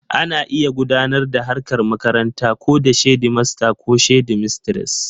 Ana iya gudanar da harkar makaranta ko da shedimasta ko shedimistres